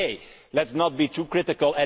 But OK, let us not be too critical.